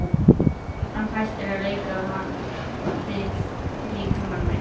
Hann hættir að leika við líkama minn.